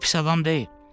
O pis adam deyil.